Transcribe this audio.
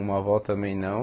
Uma avó também não.